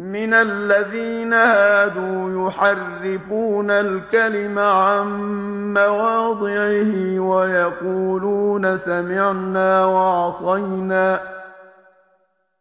مِّنَ الَّذِينَ هَادُوا يُحَرِّفُونَ الْكَلِمَ عَن مَّوَاضِعِهِ